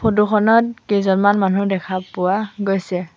Photo খনত কেইজনমান মানুহ দেখা পোৱা গৈছে।